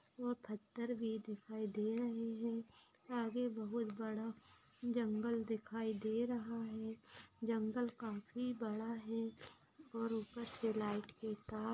और पत्थर भी दिखाई दे रहे है आगे बहुत बड़ा जंगल दिखाई दे रहा है जंगल काफी बड़ा है और ऊपर से लाइट के तार--